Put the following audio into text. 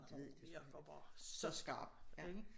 Hun virker bare så skarp ikke